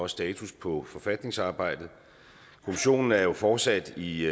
status på forfatningsarbejdet kommissionen er jo fortsat i